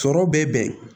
Sɔrɔ bɛ bɛn